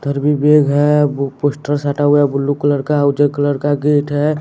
इधर भी बैग है वो पोस्टर साटा हुआ है ब्लू कलर का उज्जर कलर का गेट है।